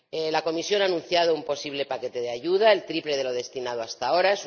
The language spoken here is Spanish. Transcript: La Comisión ha anunciado un posible paquete de ayuda el triple de lo destinado hasta ahora.